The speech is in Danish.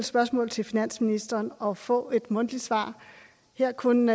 spørgsmål til finansministeren og få et mundtligt svar her kun